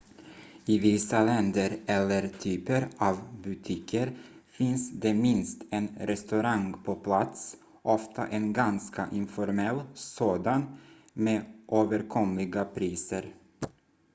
i vissa länder eller typer av butiker finns det minst en restaurang på plats ofta en ganska informell sådan med överkomliga priser